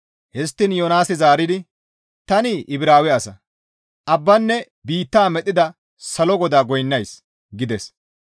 Histtiin Yoonaasi zaaridi, «Tani Ibraawe asa; abbaanne biittaa medhdhida salo GODAA goynnays» gides.